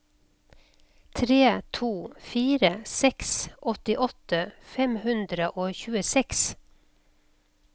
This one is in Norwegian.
tre to fire seks åttiåtte fem hundre og tjueseks